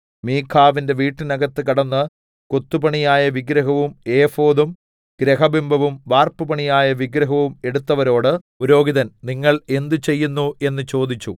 മീഖാവിന്റെ വീട്ടിന്നകത്ത് കടന്ന് കൊത്തുപണിയായ വിഗ്രഹവും ഏഫോദും ഗൃഹബിംബവും വാർപ്പുപണിയായ വിഗ്രഹവും എടുത്തവരോട് പുരോഹിതൻ നിങ്ങൾ എന്ത് ചെയ്യുന്നു എന്ന് ചോദിച്ചു